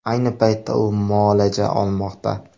Ayni paytda u muolaja olmoqda.